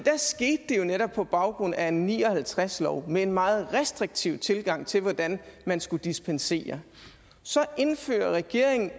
jo netop på baggrund af en nitten ni og halvtreds lov med en meget restriktiv tilgang til hvordan man skulle dispensere så indfører regeringen